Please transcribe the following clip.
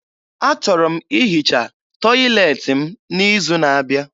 Achọrọ m ihicha tọyịleetị m n'izu n'abịa.